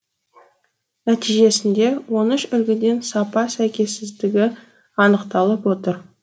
нәтижесінде он үш үлгіден сапа сәйкессіздігі анықталып отыр